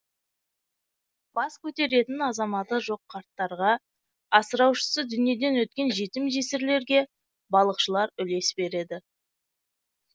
бас көтеретін азаматы жоқ қарттарға асыраушысы дүниеден өткен жетім жесірлерге балықшылар үлес береді